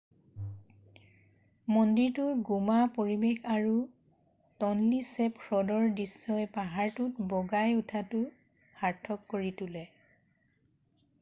মন্দিৰটোৰ গোমা পৰিৱেশ আৰু টনলি ছেপ হ্ৰদৰ দৃশ্যই পাহাৰটোত বগাই উঠাটো সাৰ্থক কৰি তোলে